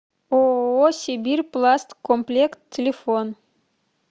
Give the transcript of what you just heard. ооо сибирьпласткомплект телефон